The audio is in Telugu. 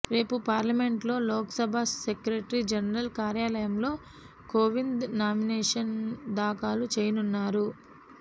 రేపు పార్లమెంటులో లోక్సభ సెక్రటరీ జనరల్ కార్యాలయంలో కోవింద్ నామినేషన్ దాఖలు చేయనున్నారు